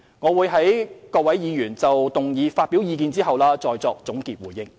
我會在各位議員就議案發表意見後再作總結回應。